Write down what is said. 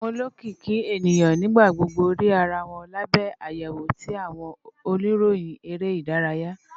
Awọn olokiki eniyan nigbagbogbo rii ara wọn labẹ ayewo ti awọn oniroyin ere idaraya.